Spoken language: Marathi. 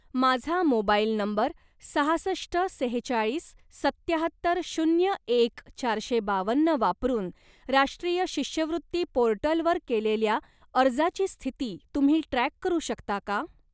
माझा मोबाईल नंबर सहासष्ट सेहेचाळीस सत्याहत्तर शून्य एक चारशे बावन्न वापरून राष्ट्रीय शिष्यवृत्ती पोर्टलवर केलेल्या अर्जाची स्थिती तुम्ही ट्रॅक करू शकता का?